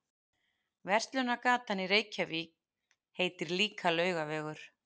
Verslunargatan í Reykjavík heitir líka Laugavegur.